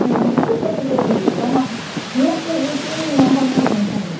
Minha mãe nunca me deu um beliscão, mas nunca eu disse um não para a minha mãe também.